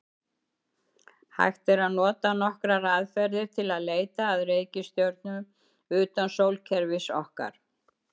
Hægt er að nota nokkrar aðferðir til að leita að reikistjörnum utan sólkerfis okkar.